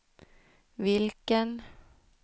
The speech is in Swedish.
vilken